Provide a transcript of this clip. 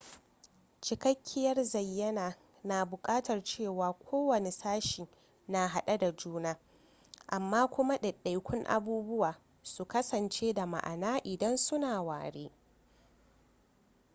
cikakkiyar zayyana na buƙatar cewa kowane sashe na hade da juna amma kuma daidaikun abubuwan su kasance da ma'ana idan su na ware